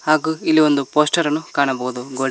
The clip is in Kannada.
ಹಾಗೂ ಇಲ್ಲಿ ಒಂದು ಪೋಸ್ಟರ್ ಅನ್ನು ಕಾಣಬಹುದು ಗೋಡೆ--